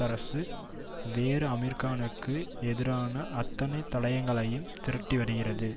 அரசு வேறு அமீர்கானுக்கு எதிரான அத்தனை தடயங்களையும் திரட்டிவருகிறது